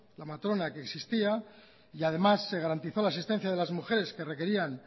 la matrona que existía y además se garantizó la asistencia de las mujeres que requerían